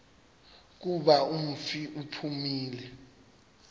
kuba umfi uphumile